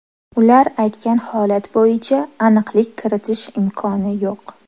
Ular aytgan holat bo‘yicha aniqlik kiritish imkoni yo‘q.